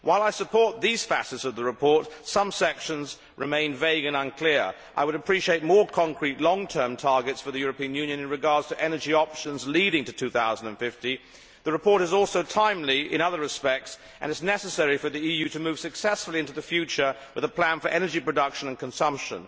However, while I support these facets of the report, some sections remain vague and unclear. I would appreciate more concrete long term targets for the EU with regard to energy options leading up to 2050. The report is also timely in other respects, and it is necessary in order for the EU to move successfully into the future with a plan for energy production and consumption.